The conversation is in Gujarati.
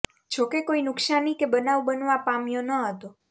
જો કે કોઈ નુકશાની કે બનાવ બનવા પામયો ન હતો